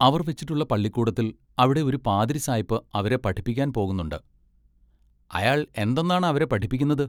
അവർ വെച്ചിട്ടുള്ള പള്ളിക്കൂടത്തിൽ അവിടെ ഒരു പാതിരി സായ്പ് അവരെ പഠിപ്പിപ്പാൻ പോകുന്നുണ്ട് "അയാൾ എന്തൊന്നാണ് അവരെ പഠിപ്പിക്കുന്നത്?